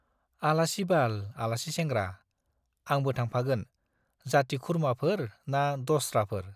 आलासिबाल, आलासि सेंग्रा, आंबो थांफागोन। जाति खुरमाफोर ना दस्राफोर ?